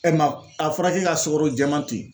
mɛ a fɔra k'e ka sukaro jɛman to yen